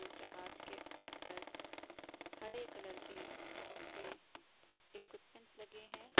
जहाज के ऊपर हरे कलर के बहोत से इक्विपमेंट्स लगे हैं।